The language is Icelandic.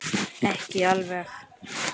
Ekki alveg.